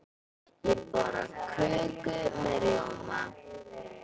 Ég borða köku með rjóma.